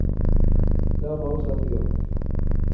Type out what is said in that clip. Det er bare å sette i gang.